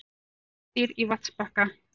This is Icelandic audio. Fjallið furðudýr á vatnsbakka.